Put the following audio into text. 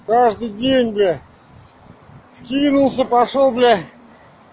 каждый день блять скинулся пошёл блять